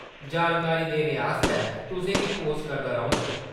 जानकारी आस्तै धन्नबाद , तुसें गी पोस्ट करदा रौह्ङ।